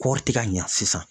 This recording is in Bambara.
Kɔɔri ti ka ɲa sisan.